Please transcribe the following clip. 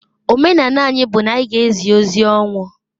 Omenani bu na anyi g' ezi ozi ọnwụ.